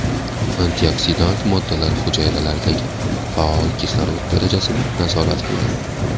Antioksidant moddalar hujayralardagi faol kislorod darajasini nazorat qiladi.